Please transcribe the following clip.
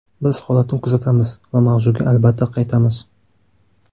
Biz holatni kuzatamiz va mavzuga albatta qaytamiz.